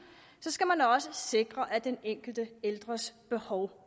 så skal man også sikre at den enkelte ældres behov